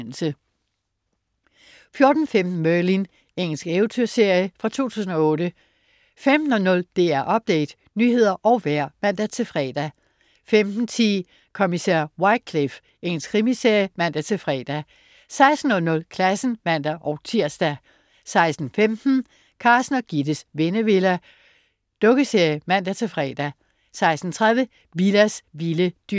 14.15 Merlin. Engelsk eventyrserie fra 2008 15.00 DR Update. Nyheder og vejr (man-fre) 15.10 Kommissær Wycliffe. Engelsk krimiserie (man-fre) 16.00 Klassen (man-tirs) 16.15 Carsten og Gittes Vennevilla. Dukkeserie (man-fre) 16.30 Willas vilde dyr